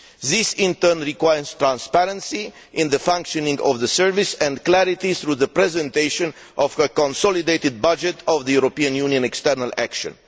This, in turn, requires transparency in the functioning of the service and clarity through the presentation of a consolidated budget of the European Union External Action.